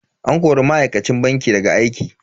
An kori ma'aikacin bankin daga aiki.